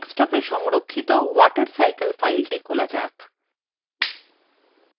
desktopwe সংরক্ষিত watercycle file খোলা যাক